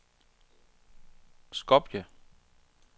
Skopje